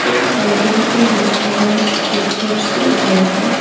एक होडिंग पे लिखा हुआ है स्कूटर से ज्यादा--